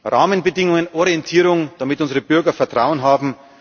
Rahmenbedingungen, Orientierung, damit unsere Bürger Vertrauen haben.